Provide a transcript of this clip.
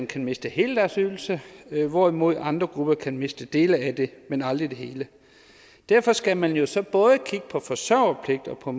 kan miste hele deres ydelse hvorimod andre grupper kan miste dele af det men aldrig det hele derfor skal man jo så både kigge på forsørgerpligt og på